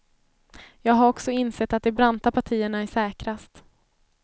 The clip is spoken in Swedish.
Jag har också insett att de branta partierna är säkrast.